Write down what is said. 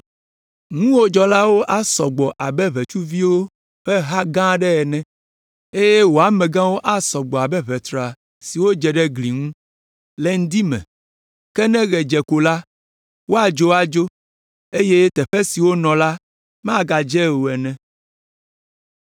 Ŋuwòdzɔlawo asɔ gbɔ abe ʋetsuviwo ƒe ha gã aɖe ene, eye wò amegãwo asɔ gbɔ abe ʋetra siwo dze ɖe gli ŋu le ŋdi me, ke ne ɣe dze ko la, woadzo adzo, eye teƒe si wonɔ la magadze o ene.